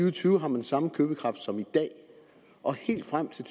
og tyve har man samme købekraft som i dag og helt frem til